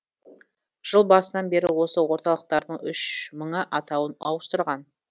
жыл басынан бері осы орталықтардың үш мыңы атауын ауыстырған